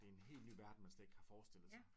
Det er en helt ny verden man slet ikke kan forestille sig